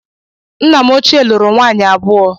Nna m ochie lụrụ nwaanyị abụọ